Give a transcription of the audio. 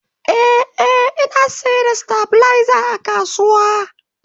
Ee, Ina sayar da stabilizer a kasuwa